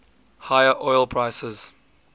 higher oil prices